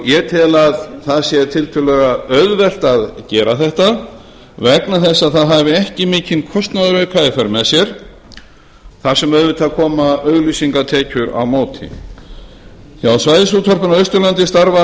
ég tel að það sé tiltölulega auðvelt að gera þetta vegna þess að það hafi ekki mikinn kostnaðarauka í för með sér þar sem auðvitað koma auglýsingatekjur á móti hjá svæðisútvarpinu á austurlandi starfa